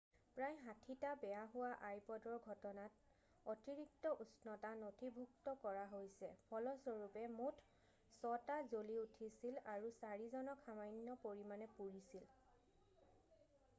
"প্ৰায় ৬০টা বেয়া হোৱা আইপʼদৰ ঘটনাত অতিৰিক্ত উষ্ণতা নথিভুক্ত কৰা হৈছে ফলস্বৰূপে মুঠ ৬ টা জ্বলি উঠিছিল আৰু ৪ জনক সামান্য পৰিমাণে পুৰিছিল।""